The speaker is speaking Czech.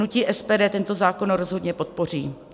Hnutí SPD tento zákon rozhodně podpoří.